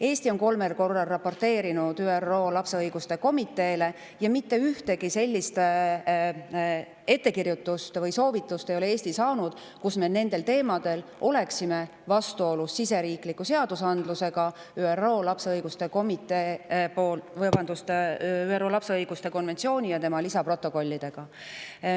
Eesti on kolmel korral raporteerinud ÜRO lapse õiguste komiteele ja mitte ühtegi sellist ettekirjutust või soovitust ei ole Eesti saanud, oleks nendel teemadel vastuolu siseriikliku seadusandluse ning ÜRO lapse õiguste konventsiooni ja selle lisaprotokollide vahel.